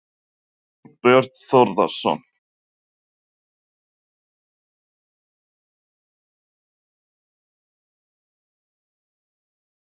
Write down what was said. Þorbjörn Þórðarson: En skiptir það máli til að rökstyðja ólögmæti verðtryggingar?